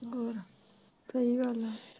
ਹੋਰ ਸਹੀ ਗੱਲ ਆ।